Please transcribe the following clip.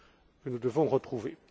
que nous devons retrouver.